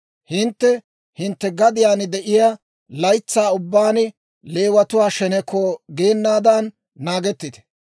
Hintte hintte gadiyaan de'iyaa laytsaa ubbaan Leewatuwaa sheneko geenaadan naagettite.